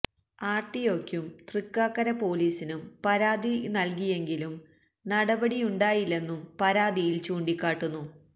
ആര് റ്റി ഒക്കും ത്യക്കാക്കര പോലിസിനും പരാതി നല്കിയെങ്കിലും നടപടിയുണ്ടായില്ലെന്നും പരാതിയില് ചൂണ്ടിക്കാട്ടുന്നു